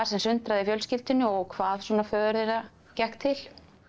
sundraði fjölskyldunni og hvað föður þeirra gekk til